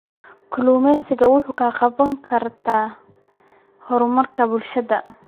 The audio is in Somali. Kalluumaysigu waxa uu ka qayb qaataa horumarka bulshada.